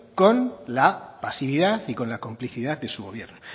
con la pasividad y con la complicidad de su gobierno